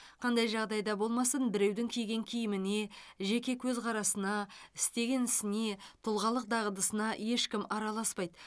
қандай жағдайда болмасын біреудің киген киіміне жеке көзқарасына істеген ісіне тұлғалық дағдысына ешкім араласпайды